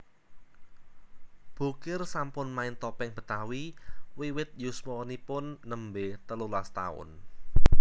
Bokir sampun main topeng Betawi wiwit yuswanipun nembé telulas taun